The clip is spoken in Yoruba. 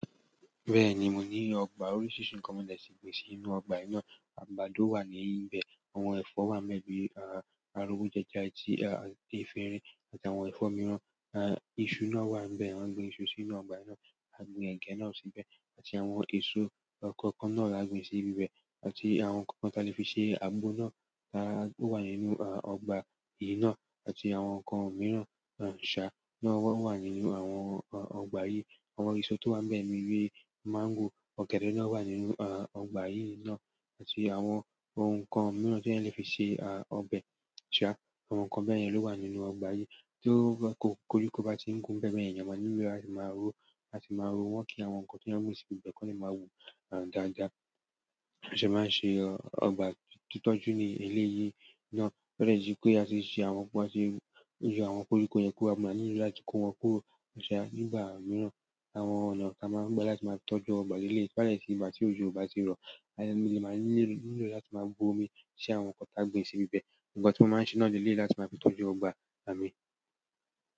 Bẹ́ẹ̀ni, mo ní ọgbà orísírisì kan mọ́dẹ̀ tí ìgbésí inú ọgbà yín náà, àgbàdo wà níbẹ̀, àwọn ẹ̀fọ́ wà bi, arówo jẹ́ja tí a efirín àti àwọn ẹ̀fọ́ mìíràn, iṣu náà wà níbẹ̀, a gbìn ìṣù sí inú ọgbà náà, a gbìn ẹ̀gẹ́ náà síbẹ̀ àti àwọn èso kọ̀ọ̀kan náà là gbìn sí ibi bẹ̀ àti àwọn kàn kàn ti a le fi se àgbo na àwọn to wa nínú ọgbà yìí na àti àwọn nkan mìíràn sa lo nínú ọgbà yi àwọn eso to wa níbẹ̀ ni mango ọ̀gẹ̀dẹ̀ wa nínú ọgbà yìí na àti àwọn nkán mìíràn ti eyan le fi se ọbẹ̀ ṣá, àwọn nǹkan bẹ́ẹ̀ yẹn ló wà nínú ọgbà yìí tí kọ́ríkọ́ bá tí ń wun bẹ́ẹ̀ bẹ́ẹ̀, èèyàn máa nílò láti máa ró, wọ́n kí àwọn nǹkan tí wọ́n gbìn sí ibi bẹ̀ kó máa wù dáadáa. A sì máa ṣe ọgbà ti tọ́jú ní elẹ̀ yìí náà, bẹ́ẹ̀ sì pé a sì ṣe àwọn ohun, a sì yọ àwọn kọ́ríkọ́ yẹn kó wa mú láti kó wọn kúrò ṣá nígbà mìíràn. Àwọn ọ̀nà ti a maa gba láti tọ́jú àwọn ọgbà leleyi to ba de ti di ìgbà ti ojo o ba ti ro a maa nílò láti ma bu omi si àwọn kan ti a gbin sibi be nkan ti mo máa n se leleyi láti maa tọ́jú ọgbà.